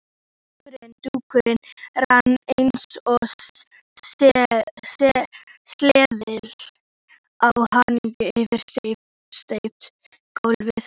Dúkurinn rann eins og sleði á hjarni yfir steypt gólfið.